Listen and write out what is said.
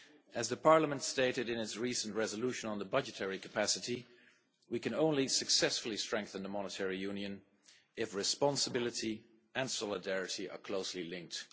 As Parliament stated in its recent resolution on the budgetary capacity, we can only successfully strengthen the monetary union if responsibility and solidarity are closely linked.